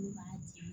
B'a di